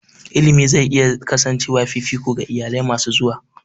Education is likely to remain a priority for future families.